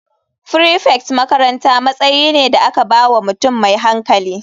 Prefect makaranta matsayi ne da aka ba wa mutum mai hankali.